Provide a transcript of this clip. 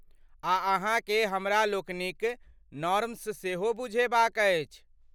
आ अहाँ के हमरालोकनिक नॉर्म्स सेहो बुझेबाक अछि।